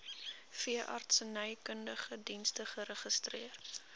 veeartsenykundige dienste geregistreer